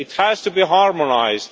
It has to be harmonised.